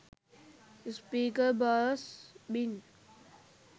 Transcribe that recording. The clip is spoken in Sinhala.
speaker bass bin